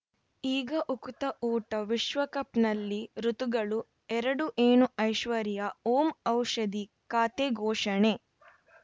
ಈಗ ಉಕುತ ಊಟ ವಿಶ್ವಕಪ್‌ನಲ್ಲಿ ಋತುಗಳು ಎರಡು ಏನು ಐಶ್ವರ್ಯಾ ಓಂ ಔಷಧಿ ಖಾತೆ ಘೋಷಣೆ